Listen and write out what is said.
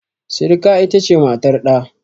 Sirika ita ce matar ɗa.